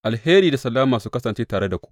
Alheri da salama su kasance tare da ku.